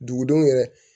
Dugudenw yɛrɛ